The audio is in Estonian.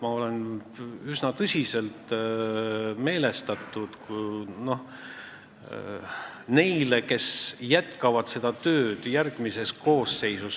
Ma olen üsna tõsiselt meelestatud nende suhtes, kes jätkavad seda tööd järgmises koosseisus.